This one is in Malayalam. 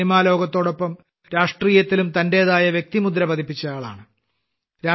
സിനിമാലോകത്തോടൊപ്പം രാഷ്ട്രീയത്തിലും തന്റേതായ വ്യക്തിമുദ്ര പതിപ്പിച്ചയാളാണ്